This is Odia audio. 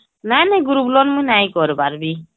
ନାଇଁ ନାଇଁ group loan ମୁଇଁ ନାଇଁ କରିବାର ବି